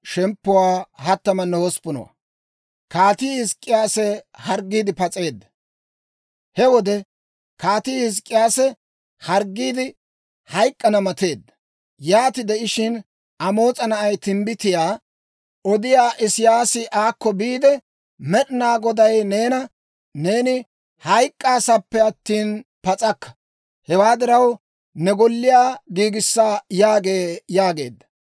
He wode Kaatii Hizk'k'iyaasi harggiide, hayk'k'ana mateedda. Yaati de'ishshin Amoos'a na'ay timbbitiyaa odiyaa Isiyaasi aakko biide, «Med'inaa Goday neena, ‹Neeni hayk'k'aasappe attina pas'akka; hewaa diraw, ne golliyaa giigissa› yaagee» yaageedda.